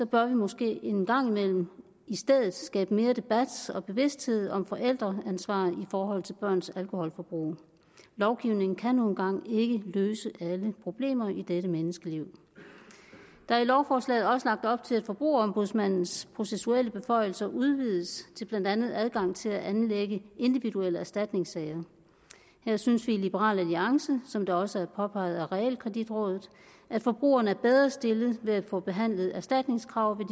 bør vi måske en gang imellem skabe mere debat og bevidsthed om forældreansvar i forhold til børns alkoholforbrug lovgivningen kan nu engang ikke løse alle problemer i dette menneskeliv der er i lovforslaget også lagt op til at forbrugerombudsmandens processuelle beføjelser udvides til blandt andet adgang til at anlægge individuelle erstatningssager her synes vi i liberal alliance som det også er påpeget af realkreditrådet at forbrugerne er bedre stillet ved at få behandlet erstatningskrav ved